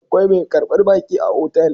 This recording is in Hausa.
Akwai mai karbar baƙi a otal